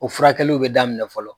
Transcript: O furakɛliw bɛ daminɛ fɔlɔ.